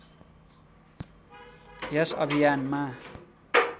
यस अभियानमा